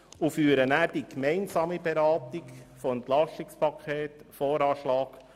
Danach führen wir die gemeinsame Beratung des EP, des VA und des AFP durch.